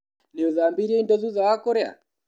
Nĩũthambirie indo thutha wa kũrĩa?